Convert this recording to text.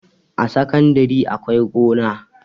A sakandare akwai gona